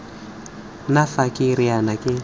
nna fa ke riana ke